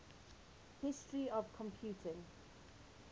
history of computing